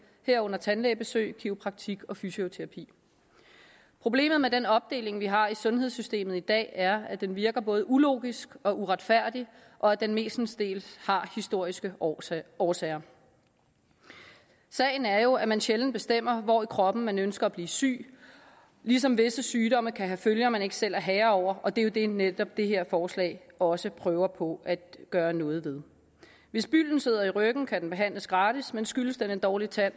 herunder tandlægebesøg kiropraktik og fysioterapi problemet med den opdeling vi har i sundhedssystemet i dag er at den virker både ulogisk og uretfærdig og at den mestendels har historiske årsager årsager sagen er jo at man sjældent bestemmer hvor i kroppen man ønsker at blive syg ligesom visse sygdomme kan have følger man ikke selv er herre over og det er jo det netop det her forslag også prøver på at gøre noget ved hvis bylden sidder i ryggen kan den behandles gratis men skyldes den en dårlig tand